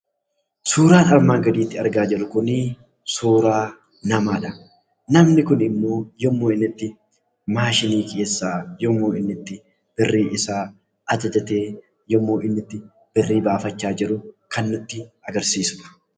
Suuraan kanaa gaditti argaa jirru kun suuraa namaadha. Namni kun immoo yemmuu inni itti 'maashinii' keessaa birrii isaa ajajatee yemmuu inni itti birrii baafachaa jiru kan nutti agarsiisuudha.